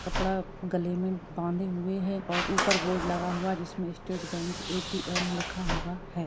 कपड़ा गले में बांधे हुए है और ऊपर बोर्ड लगा हुआ जिस मे स्टेट बेंक एटीएम लिखा हुआ है।